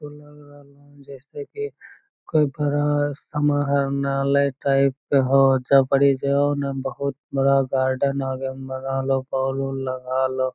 उ लग रहले हो जैसे की कोई बड़ा सा महा नाला टाइप के होअ जहां पर इ जो है ना बहुत बड़ा गार्डन ह वे बगल मे बोल उल लगल हेय ।